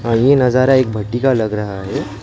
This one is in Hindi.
पर ये नजरा एक भट्टी का लग रहा है।